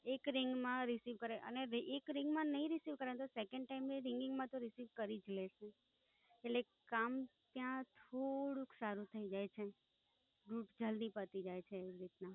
એક Ring માં Receive કરે અને એક Ring માં નઇ Receive કરે તો, Second time ની Ringing માં તો Receive કરી જ લે છે. એટલે, કામ ત્યાં થોડુંક સારું થઇ જાય છે. Rut જલ્દી પતી જાય છે English માં.